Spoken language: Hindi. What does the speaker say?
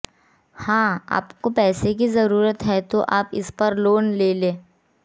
हां आपको पैसे की जरूरत है तो आप इस पर लोन ले लें